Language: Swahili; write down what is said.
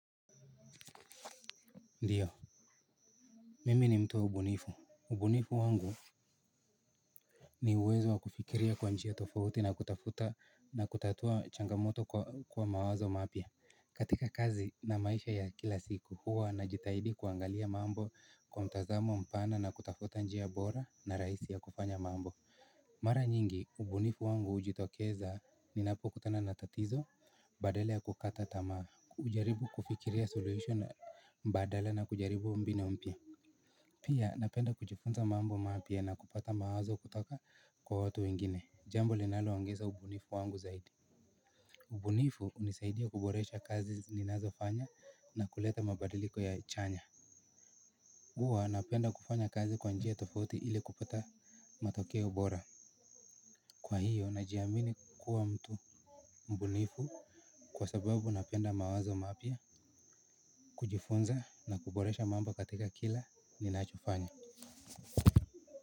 Ndiyo, mimi ni mtu wa ubunifu. Ubunifu wangu ni uwezo wa kufikiria kwa njia tofauti na kutafuta na kutatua changamoto kwa mawazo mapya. Katika kazi na maisha ya kila siku, huwa na jitaidi kuangalia mambo kwa mtazamo mpana na kutafuta njia bora na rahisi ya kufanya mambo. Mara nyingi, ubunifu wangu hujitokeza ninapo kutana na tatizo, badala ya kukata tamaa, hujaribu kufikiria solution mbadala na kujaribu mbinu mpya. Pia napenda kujifunza mambo mapya na kupata mawazo kutoka kwa watu wengine jambo linaloongeza ubunifu wangu zaidi. Ubunifu hunisaidia kuboresha kazi ninazofanya na kuleta mabadiliko ya chanya huwa napenda kufanya kazi kwa njia tofuti ili kupata matokeo bora. Kwa hiyo najiamini kuwa mtu mbunifu. Kwa sababu napenda mawazo mapya. Kujifunza na kuboresha mambo katika kila ninachofanya.